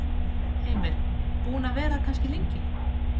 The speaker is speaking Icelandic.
Heimir: Búin að vera það kannski lengi?